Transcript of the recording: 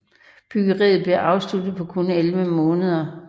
Byggeriet blev afsluttet på kun elleve måneder